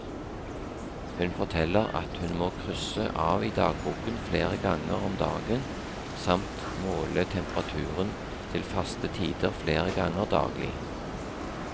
Hun forteller at hun må krysse av i dagboken flere ganger om dagen samt måle temperaturen til faste tider flere ganger daglig.